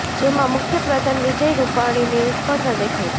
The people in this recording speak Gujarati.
જેમાં મુખ્ય પ્રધાન વિજય રૂપાણીની નિષ્ફળતા દેખાય છે